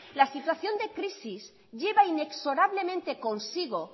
la situación de crisis lleva inexorablemente consigo